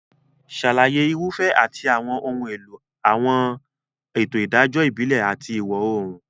Ṣàlàyé irúfẹ́ àti àwọn ohun èlò àwọn ètò ìdájọ́ ìbílẹ̀ àti ìwọ̀-oòrùn.